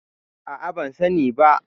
A'a, ban sani ba.